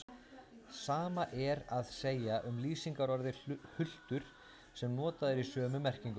Sama er að segja um lýsingarorðið hultur sem notað er í sömu merkingu.